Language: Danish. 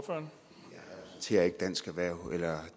dansk erhverv tager